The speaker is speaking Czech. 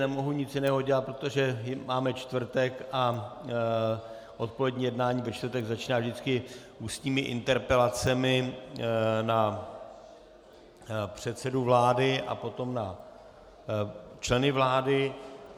Nemohu nic jiného dělat, protože máme čtvrtek a odpolední jednání ve čtvrtek začíná vždycky ústními interpelacemi na předsedu vlády a potom na členy vlády.